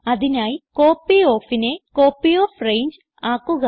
അതിനായി copyOfനെ കോപ്പിയോഫ്രാഞ്ചെ ആക്കുക